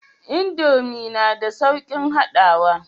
Indomie na da saukin haɗawa